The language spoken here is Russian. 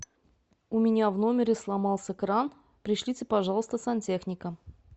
у меня в номере сломался кран пришлите пожалуйста сантехника